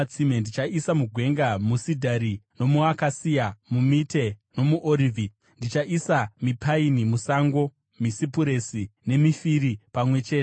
Ndichaisa mugwenga musidhari nomuakasiya, mumite nomuorivhi. Ndichaisa mipaini musango, misipuresi nemifiri pamwe chete,